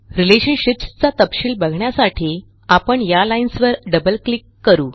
relationships चा तपशील बघण्यासाठी आपण या लाईन्सवर डबल क्लिक करू